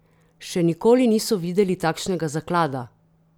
Še nikoli niso videli takšnega zaklada!